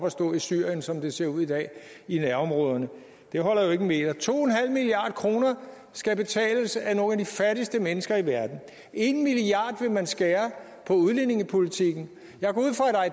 at stå i syrien som det ser ud i dag i nærområderne det holder jo ikke en meter to milliard kroner skal betales af nogle af de fattigste mennesker i verden en milliard kroner vil man skære på udlændingepolitikken